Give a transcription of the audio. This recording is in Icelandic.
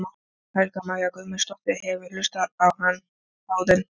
Helga María Guðmundsdóttir: Hefurðu hlustað á hann áður?